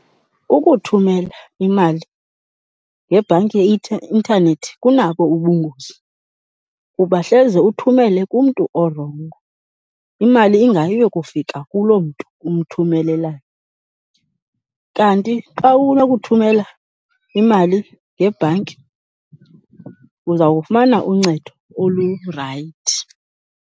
Ukuthumela imali ngebhanki intanethi kunabo ubungozi kuba hleze uthumele kumntu orongo, imali ingayi uyokufika kuloo mntu umthumelelayo. Kanti xa unokuthumela imali ngebhanki, uzawufumana uncedo olurayithi.